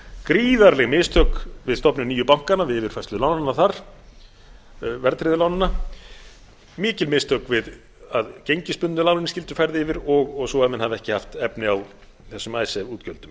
gríðarleg mistök við stofnun nýju bankanna við yfirfærslu lánanna þar verðtryggðu lánanna mikil mistök við að gengisbundnu lánin skyldu færð og svo að menn hafi ekki haft efni á þessum icesave útgjöldum